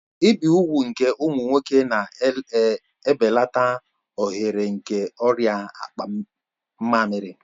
Ibi úgwù nke ụmụ nwoke na-ebelata ohere nke ọrịa akpa mmamiri